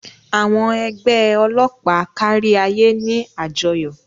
Àwọn ẹgbẹ́ ọlọ́pàá káríayé ní àjọyọ̀.